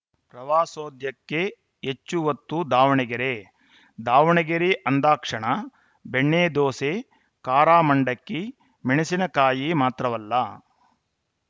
ಪ್ರವಾಸೋದ್ಯಕ್ಕೆ ಹೆಚ್ಚು ಒತ್ತು ದಾವಣಗೆರೆ ದಾವಣಗೆರೆ ಅಂದಾಕ್ಷಣ ಬೆಣ್ಣೆದೋಸೆ ಕಾರಾ ಮಂಡಕ್ಕಿ ಮೆಣಸಿನ ಕಾಯಿ ಮಾತ್ರವಲ್ಲ